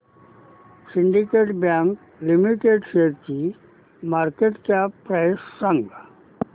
Syndicate Bank Limited शेअरची market cap price सांगा